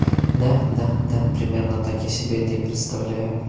да да да примерно так я себе это и представляю